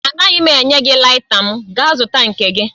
Anaghị m enye gị laita m, gaa zụta nke gị